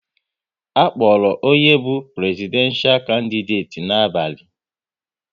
A kpọrọ onye bụ Prezidenshal kandideti n'abalị